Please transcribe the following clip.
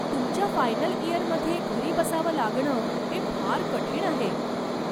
तुमच्या फायनल इयरमध्ये घरी बसावं लागणं हे फार कठीण आहे.